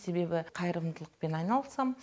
себебі қайырымдылықпен айналысам